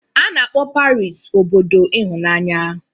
A na-akpọ Paris obodo ịhụnanya